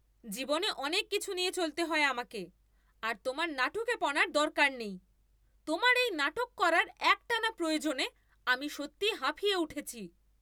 জীবনে অনেক কিছু নিয়ে চলতে হয় আমাকে, আর তোমার নাটুকেপনার দরকার নেই। তোমার এই নাটক করার একটানা প্রয়োজনে আমি সত্যিই হাঁফিয়ে উঠেছি।